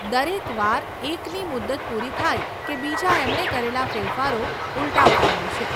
દરેક વાર એકની મુદત પૂરી થાય કે બીજા એમણે કરેલાં ફેરફારો ઉલટાવતા હોય છે.